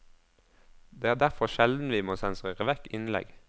Det er derfor sjelden vi må sensurere vekk innlegg.